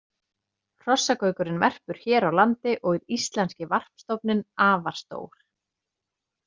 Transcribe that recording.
Hrossagaukurinn verpur hér á landi og er íslenski varpstofninn afar stór.